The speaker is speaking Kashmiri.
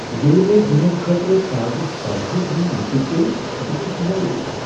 ییٚلہ مے٘ ڈنر خٲطرٕ تازٕ سبزی انٕنۍ مشِتھ گیہ بہٕ گوس مویوٗس ۔